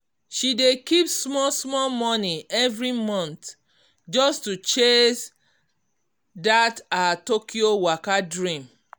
she dey keep small-small money every month just to chase that her tokyo waka dream.